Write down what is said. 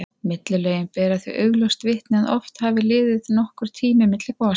Millilögin bera því augljóst vitni að oft hafi liðið nokkur tími milli gosa.